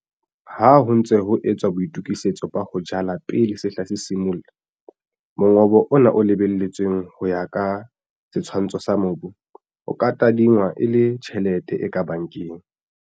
Ha ho ntse ho etswa boitokisetso ba ho jala pele sehla se simolla, mongobo ona o lebelletsweng ho ya ka setshwantsho sa mobu, o ka tadingwa e le tjhelete e ka bankeng.